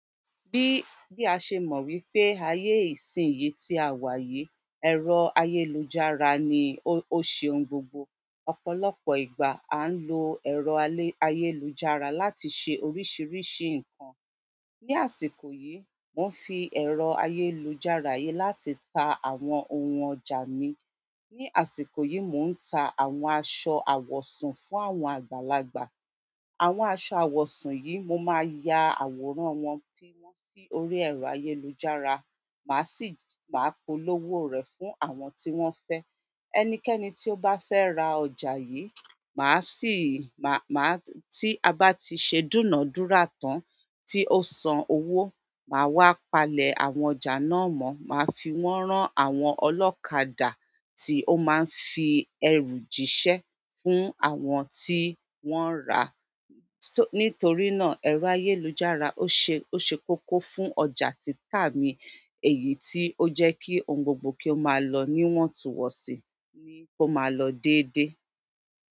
Bí, bí a ṣe mọ̀ wípé ayé ìsinyìí tí a wà yìí, ẹ̀rọ ayélujára ni ó ṣe ohun gbogbo. Ọ̀pọ̀lọpọ̀ ìgbà à ń lo ẹ̀rọ alẹ́, ayélujára láti ṣe oríṣiríṣi nǹkan. Ni àsìkò yìí, mò ń fi ẹ̀rọ ayélujára yìí láti ta àwọn ohun ọjà mi. Ni àsìkò yìí, mò ń ta àwọn aṣọ àwọ̀sùn fún àwọn àgbàlagbà. Àwọn aṣọ àwọ̀sùn yìí mo máa ya àwòrán wọn tí wọ́n sí orí ẹ̀rọ ayélujára. Màá sì, màá polówó rẹ̀ fún àwọn tí wọ́n fẹ́. Ẹnikẹni ti o ba fẹ ra ọjà yìí maa sii ti a ba ti se duna dura tan ti o san owo, ma wa palẹ àwọn ọjà na mọ. Màá fi wọ́n rán àwọn ọlọ́kadà tí ó máa ń fi ẹrù jíṣẹ́ fún àwọn tí wọ́n ra. Nítorí náà ẹ̀rọ ayélujára ó ṣe, ó ṣe kókó fún ọjà títà mi èyí tí ó jẹ́ kí ohun gbogbo kí ó máa lọ níwọ́ntúnwọ̀sí ní kó máa lọ déédéé.